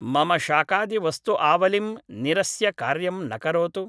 मम शाकादिवस्तुआवलिं निरस्य कार्यं न करोतु